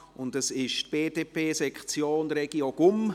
Es handelt sich um die BDP-Sektion Regio Gumm.